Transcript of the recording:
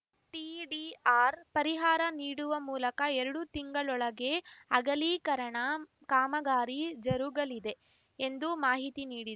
TDR ಪರಿಹಾರ ನೀಡುವ ಮೂಲಕ ಎರಡು ತಿಂಗಳೊಳಗೆ ಅಗಲೀಕರಣ ಕಾಮಗಾರಿ ಜರುಗಲಿದೆ ಎಂದು ಮಾಹಿತಿ ನೀಡಿ